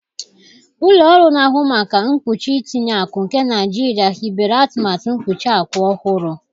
Ụlọ ọrụ na-ahụ maka mkpuchi itinye akụ nke Naijiria hibere atụmatụ mkpuchi akụ ọhụrụ.